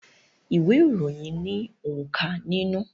Ìwé ìròyìn ní onka nínú.